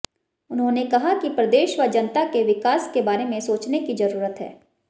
उन्होंने कहा कि प्रदेश व जनता के विकास के बारे में सोचने की जरूरत है